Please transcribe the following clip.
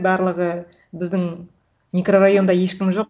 барлығы біздің микрорайонда ешкім жоқ